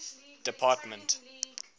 department